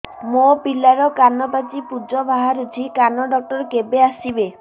ମୋ ପିଲାର କାନ ପାଚି ପୂଜ ବାହାରୁଚି କାନ ଡକ୍ଟର କେବେ ଆସିବେ